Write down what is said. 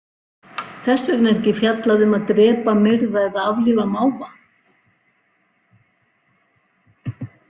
Þess vegna er ekki fjallað um að drepa, myrða eða aflífa máva.